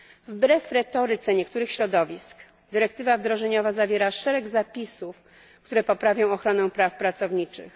Wbrew retoryce niektórych środowisk dyrektywa wdrożeniowa zawiera szereg zapisów, które poprawią ochronę praw pracowniczych.